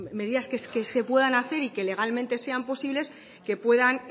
medidas que se puedan hacer y que legalmente sean posibles